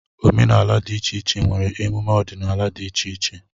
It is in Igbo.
Omenala dị iche iche nwere emume ọdịnala di iche iche